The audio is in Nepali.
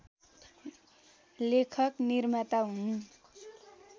लेखक निर्माता हुन्